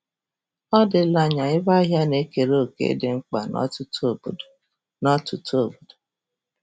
Ọ dịla anya ebe ahịa na-ekere òkè dị mkpa n'ọtụtụ obodo. n'ọtụtụ obodo.